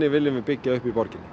viljum við byggja upp í borginni